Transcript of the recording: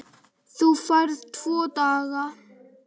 Þú færð tvo daga.